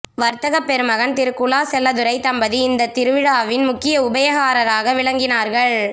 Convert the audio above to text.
வர்த்தகப் பெருமகன் திரு குலா செல்லத்துரை தம்பதி இந்த திருவிழாவின் முக்கிய உபயகாரராக விளங்கினார்கள்